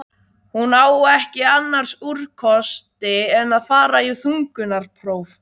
Hún á ekki annars úrkosti en að fara í þungunarpróf.